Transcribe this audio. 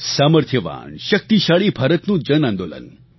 સામર્થ્યવાનશક્તિશાળી ભારતનું જન આંદોલન